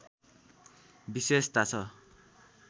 विशेषता छ